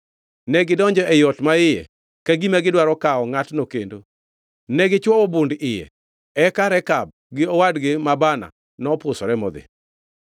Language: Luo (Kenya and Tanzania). Negidonjo e ot maiye ka gima gidwaro kawo ngʼatno kendo, negichwowo bund iye. Eka Rekab gi owadgi ma Baana nopusore modhi.